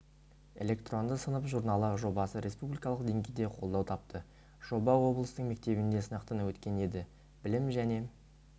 электронды сынып журналы жобасы республикалық деңгейде қолдау тапты жоба облыстың мектебінде сынақтан өткен еді білім және